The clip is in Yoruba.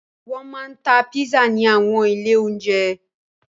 Wọn máa ń ta pizza ní àwọn ilé-oúnjẹ.